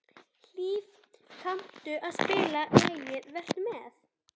Hlíf, kanntu að spila lagið „Vertu með“?